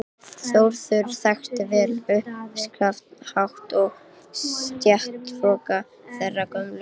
Þórður þekkti vel uppskafningshátt og stéttahroka þeirrar gömlu